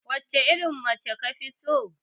Wacce irin mace kafi so?